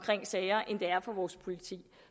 sager end det er for vores politi